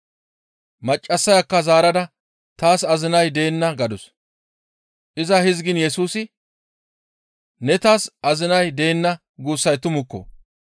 Maccassayakka zaarada, «Taas azinay deenna» gadus; iza hizgiin Yesusi, « ‹Ne taas azinay deenna› guussay tumukko.